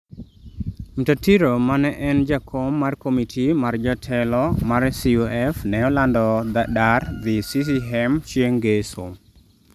Mtatiro ma ne en jakom mar komiti mar jotelo mar CUF ne olando dar dhi CCM chieng' ngeso